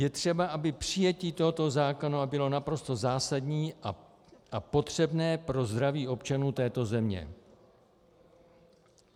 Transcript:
Je třeba, aby přijetí tohoto zákona bylo naprosto zásadní a potřebné pro zdraví občanů této země.